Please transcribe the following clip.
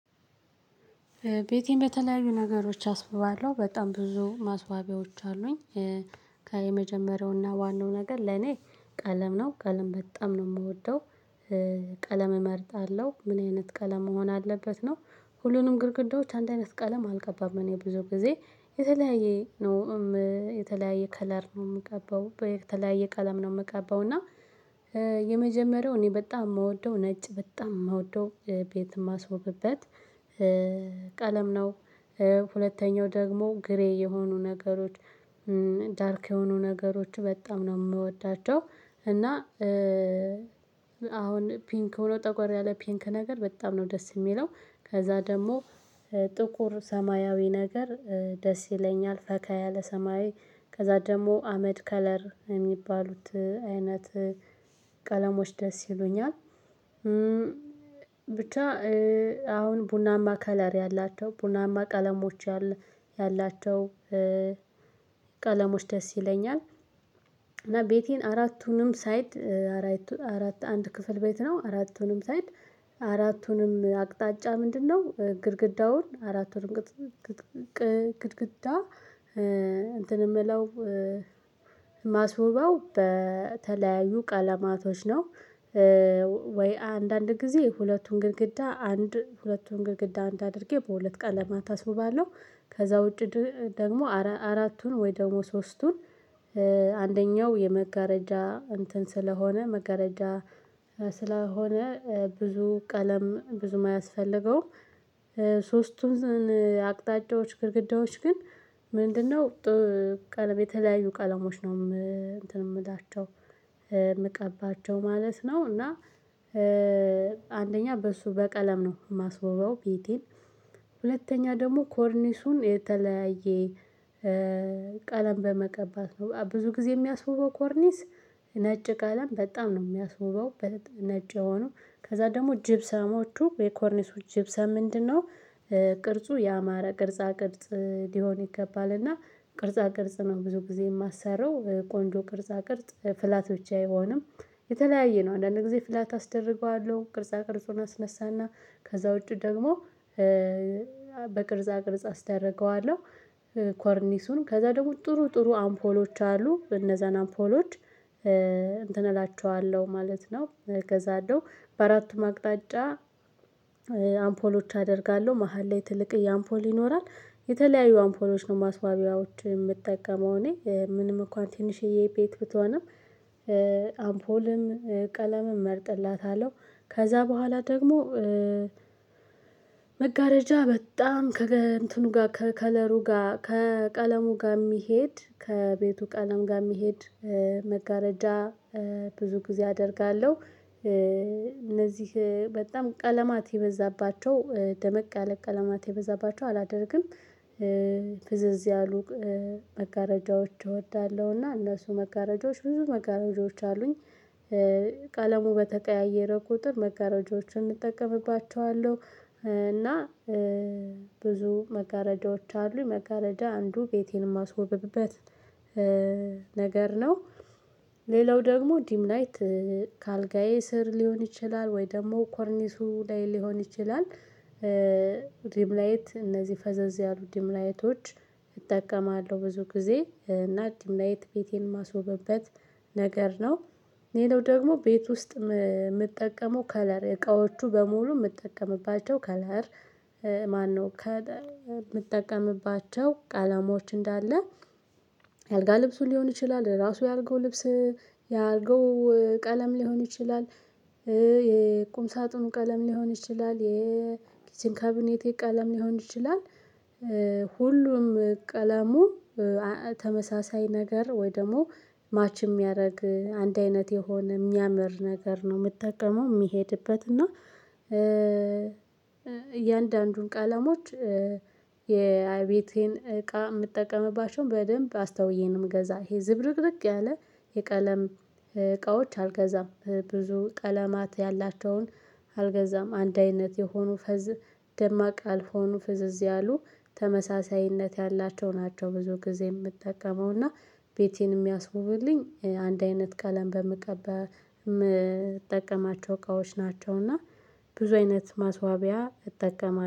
ቤቴን በተለያዩ ነገሮች አስውባለሁ በጣም ብዙ ማስዋቢያዎች አሉኝ። ከየመጀመሪያውና ዋናው ነገር ለኔ ቀለም ነው ቀለም በጣም ነው የምወደው። ቀለም እመርጣለሁ ምን አይነት ቀለም መሆን አለበት ነው? ሁሉንም ግድግዳዎች አንድ አይነት ቀለም አልቀባም እኔ ብዙ ጊዜ የተለያየ ነው። የተለያየ ከለር ነው የምቀባው የተለያየ ቀለም ነው የምቀባው እና። የመጀመሪያው እኔ በጣም የምወደው ነጭ በጣም የምወደው ቤት የማስወብበት ቀለም ነው። ሁለተኛው ደግሞ ግሬ የሆኑ ነገሮች ዳርክ የሆኑ ነገሮች በጣም ነው የምወዳቸው። እና አሁን ፒንክ ሆኖ ጠቆር ያለ ፒንክ ነገር በጣም ነው ደስ የሚለው። ከዛ ደግሞ ጥቁር ሰማያዊ ነገር ደስ ይለኛል ፈካይ ያለ ሰማያዊ። ከዛ ደግሞ አመድ ከለር የሚባሉት አይነት ቀለሞች ደስ ይሉኛል። ብቻ አሁን ቡናማ ከለር ያላቸው ቡናማ ቀለሞች ያላቸው ቀለሞች ደስ ይሉኛል። እና ቤቴን አራቱንም ሳይድ አራት አንድ ክፍል ቤት ነው አራቱንም ሳይድ። አራቱንም አቅጣጫ ምንድነው? ግድግዳውን አራቱንም ግድግዳ እንትን የምለው ማስውበው በተለያዩ ቀለማቶች ነው። ወይ አንዳንድ ጊዜ ሁለቱን ግድግዳ አንድ ሁለቱን ግድግዳ አንድ አድርጌ በሁለት ቀን ለማታ አስቡባለሁ። ከዛ ውጪ ደግሞ አራቱን ወይ ደግሞ ሶስቱን አንደኛው የመጋረጃ እንትን ስለሆነ መጋረጃ ስለሆነ ብዙ ቀለም ብዙ የማያስፈልገውም። ሶስቱን አቅጣጫዎች ግድግዳዎች ግን ምንድነው? ቀለም የተለያዩ ቀለሞች ነው እንትን የምላቸው የምቀባቸው ማለት ነው እና። አንደኛ በሱ በቀለም ነው የማስውበው ቤቴን። ሁለተኛ ደግሞ ኮርኒሱን የተለያየ ቀለም በመቀባት ነው ብዙ ጊዜ የሚያስውበው ኮርኒስ። ነጭ ቀለም በጣም ነው የሚያስውበው። ነጭ የሆነው ከዛ ደግሞ ጅብሰሞቹ የኮርኒሱ ጅብ ሰም ምንድነው? ቅርጹ ያማረ ቅርጽ ቅርጽ ሊሆን ይገባልና ቅርጻ ቅርጽ ነው ብዙ ጊዜ የማሰራው ቆንጆ ቅርጻ ቅርጽ ፍላቶች አይሆንም። የተለያየ ነው አንዳንድ ጊዜ ፍላት አስደርገዋለሁ ቅርጻ ቅርጹን አስነሳና። ከዛ ውጪ ደግሞ በቅርጻ ቅርጽ አስደርገዋለሁ። ኮርኒሱን ከዛ ደግሞ ጥሩ ጥሩ አምፖሎች አሉ እነዛን አምፖሎች እንትን እላችኋለሁ ማለት ነው እገዛለው። በአራቱም አቅጣጫ አምፖሎች አደርጋለሁ መሃል ላይ ትልቅ የአምፖል ይኖራል። የተለያዩ አምፖሎች ነው ማስዋቢያዎች የምጠቀመው እኔ ምንም እንኳን ትንሽዬ የቤት ብትሆንም። አምፖልም ቀለምም እመርጥላታለሁ። ከዛ በኋላ ደግሞ መጋረጃ በጣም ከእንትኑ ጋር ከከለሩ ጋር ከቀለሙ ጋር የሚሄድ ከቤቱ ቀለም ጋር የሚሄድ መጋረጃ ብዙ ጊዜ አደርጋለሁ። እነዚህ በጣም ቀለማት የበዛባቸው ደመቅ ያለ ቀለማት የበዛባቸው አላደርግም። ፍዝዝ ያሉ መጋረጃዎች እወዳለሁ እና እነሱ መጋረጃዎች ብዙ መጋረጃዎች አሉኝ። ቀለሙ በተቀያየረ ቁጥር መጋረጃዎችን እጠቀምባቸዋለሁ። እና ብዙ መጋረጃዎች አሉ መጋረጃ አንዱ ቤቴን የማስወብብበት ነገር ነው። ሌላው ደግሞ ዲም ላይት ከአልጋዬ ስር ሊሆን ይችላል ወይ ደግሞ ኮርኒሱ ላይ ሊሆን ይችላል። ዲም ላይት እነዚህ ፈዘዝ ያሉ ዲም ላይቶች እጠቀማለሁ ብዙ ጊዜ እና ዲም ላይ ቤቴን ማስወበት ነገር ነው። ሌላው ደግሞ ቤት ውስጥ የምትጠቀመው ከለር እቃዎቹ በሙሉ የምትጠቀምባቸው ከለር ማነው? ከምጠቀምባቸው ቃለሞች እንዳለ። አልጋ ልብሱ ሊሆን ይችላል ራሱ ያርገው ልብስ ያልጋው ቀለም ሊሆን ይችላል። የቁም ሳጥኑ ቀለም ሊሆን ይችላል የኪችን ካቢኔቴ ቀለም ሊሆን ይችላል። ሁሉም ቀለሙ ተመሳሳይ ነገር ወይ ደግሞ ማች የሚያደርግ አንድ አይነት የሆነ የሚያምር ነገር ነው የምትጠቀመው የሚሄድበት እና። እያንዳንዱን ቃለሞች ቀለሞች የቤቴን እቃ የምጠቀምባቸውን በደንብ አስታውዬ ነው እምገዛ ይሄ ዝብርቅርቅ ያለ። የቀለም እቃዎች አልገዛም ብዙ ቀለማት ያላቸውን አልገዛም አንድ አይነት የሆኑ ፈዝ ደማቅ ያልሆኑ ፍዝዝ ያአሉ ተመሳሳይነት ያላቸው ናቸው። ብዙ ጊዜ የምጠቀመው እና ቤቴን የሚያስውብልኝ አንድ አይነት ቀለም በምቀባ የምጠቀማቸው እቃዎች ናቸውና። ብዙ አይነት ማስዋቢያ እጠቀማለሁ